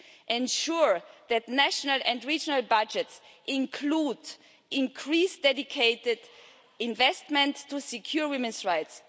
We also need to ensure that national and regional budgets include increased dedicated investment to secure women's rights.